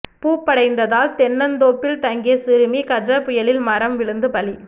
பூப்படைந்ததால் தென்னந்தோப்பில் தங்கிய சிறுமி கஜ புயலில் மரம் விழுந்து பலி